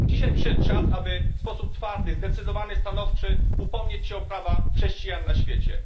Dzisiaj przyszedł czas, aby w sposób twardy, zdecydowany, stanowczy upomnieć się o prawa chrześcijan na świecie.